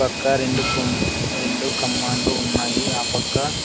పక్క రెండు కొమ్ కమన్లు ఉన్నాయి ఆ పక్క.